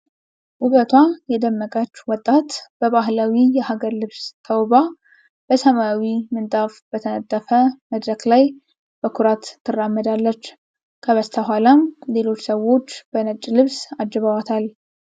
ውበቷ የደመቀች ወጣት በባህላዊ የሀገር ልብስ ተውባ፣ በሰማያዊ ምንጣፍ በተነጠፈ መድረክ ላይ በኩራት ትራመዳለች። ከበስተኋላም ሌሎች ሰዎች በነጭ ልብስ አጅበዋታል።